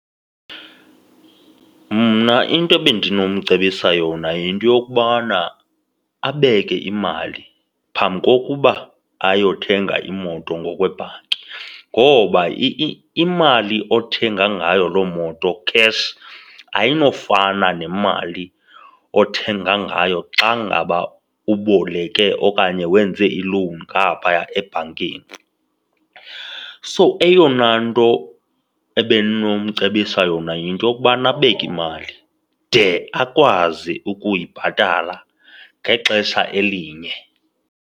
Mna into bendinomcebisa yona yinto yokubana abeke imali phambi kokuba ayothenga iimoto ngokwebhanki ngoba imali othenga ngayo loo moto cash ayinofana nemali othenga ngayo xa ngaba uboleke okanye wenze ilowuni ngaphaya ebhankini. So, eyona nto ebendinocebisa yona yinto yokubana abeke imali de akwazi ukuyibhatala ngexesha elinye.